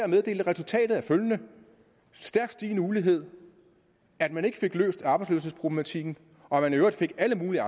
meddele at resultatet var følgende stærkt stigende ulighed at man ikke fik løst arbejdsløshedsproblematikken og at man i øvrigt fik alle mulige